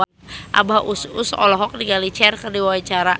Abah Us Us olohok ningali Cher keur diwawancara